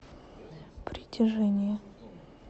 притяжение